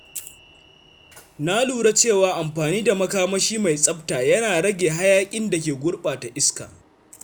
Na lura cewa amfani da makamashi mai tsafta yana rage hayaƙin da ke gurɓata iska.